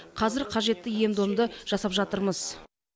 қазір қажетті ем домды жасап жатырмыз